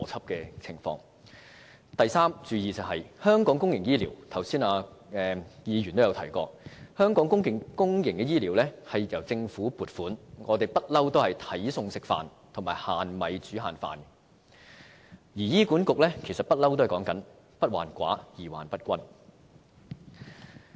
至於要注意的第三點，有議員剛才也提到香港公營醫療由政府撥款，我們向來也是"睇餸食飯"和"限米煮限飯"，而醫院管理局一直也主張"不患寡而患不均"。